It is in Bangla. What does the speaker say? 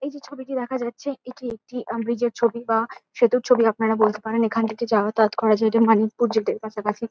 এই যে ছবিটি দেখা যাচ্ছে এটি একটি আ ব্রীজ -এর ছবি বা সেতুর ছবি আপনারা বলতে পারেন এখান থেকে যাতায়াত করা যায় এটা মানিকপুর জেট -এর পাশাপাশি।